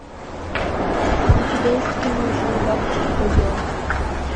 у тебя есть кино жил у бабушки козел